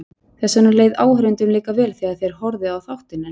Þess vegna leið áhorfendum líka vel þegar þeir horfðu á þáttinn hennar.